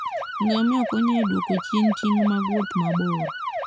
Ngamia konyo e duoko chien ting' mag wuoth mabor.